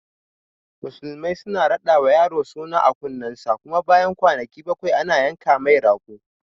Musulmai suna raɗawa yaro suna a kunnen sa, kuma bayan kwanaki bakwai ana yanka mai rago